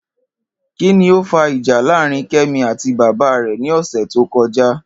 Kí ni ó fa ìjà láàárín Ké̩mi àti bàbá rè̩ ní ò̩sè̩ tó ko̩já?